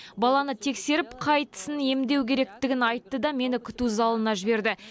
баланы тексеріп қай тісін емдеу керектігін айтты да мені күту залына жіберді